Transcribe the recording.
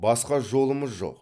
басқа жолымыз жоқ